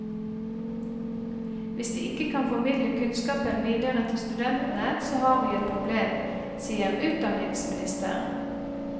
Hvis de ikke kan formidle kunnskapen videre til studentene, så har vi et problem, sier utdanningsministeren.